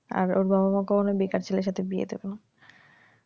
আর ওর বাবা মা কখনই বেকার ছেলের সাথে বিয়ে দেবে না